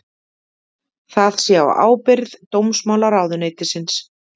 Það sé á ábyrgð dómsmálaráðuneytisins